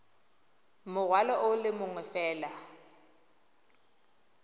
morwalo o le mongwe fela